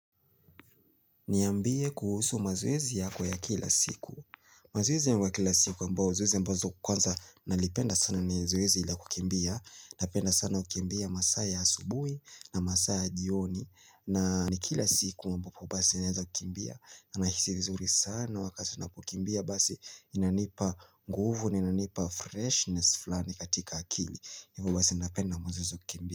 Niambie kuhusu mazoezi yako ya kila siku mazoezi yangu ya kila siku ambao zoezi ambazo kwanza nalipenda sana ni zoezi la kukimbia Napenda sana kukimbia masaa ya asubuhi na masaa ya jioni na ni kila siku ambapo basi naeza kukimbia na nahisi vizuri sana wakati napokimbia Basi inanipa nguvu ni inanipa freshness flani katika akili. Hivo basi napenda mazoezi ya kukimbia.